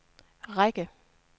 række